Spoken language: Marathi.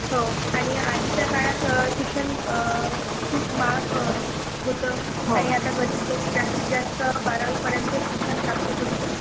हो आणि आधीच्या काळात शिक्षण खूप महाग होतं. आणि आता गरीब लोक जास्तीत जास्त बारावी पर्यंत शिक्षण प्राप्त करू शकतात.